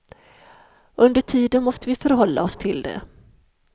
Under tiden måste vi förhålla oss till det.